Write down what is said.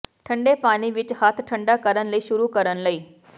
ਠੰਡੇ ਪਾਣੀ ਵਿਚ ਹੱਥ ਠੰਢਾ ਕਰਨ ਲਈ ਸ਼ੁਰੂ ਕਰਨ ਲਈ